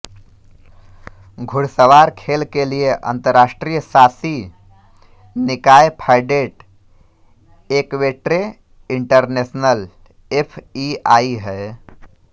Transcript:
घुड़सवार खेल के लिए अंतर्राष्ट्रीय शासी निकाय फैडेट एक्वेट्रे इंटरनेशनेल एफईआई है